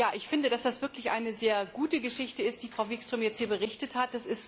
Ich finde, dass das wirklich eine sehr gute Geschichte ist, über die Frau Wikström hier berichtet hat.